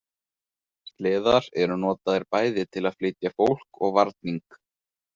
Sleðar eru notaðir bæði til að flytja fólk og varning.